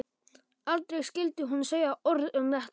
Aldrei skyldi hún segja orð um þetta meir.